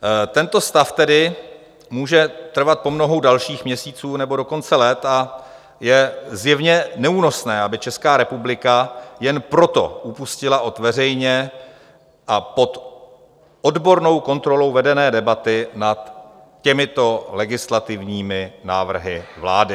Tento stav tedy může trvat po mnoho dalších měsíců, nebo dokonce let, a je zjevně neúnosné, aby Česká republika jen proto upustila od veřejně a pod odbornou kontrolou vedené debaty nad těmito legislativními návrhy vlády.